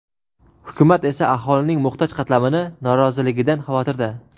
hukumat esa aholining muhtoj qatlamini noroziligidan xavotirda.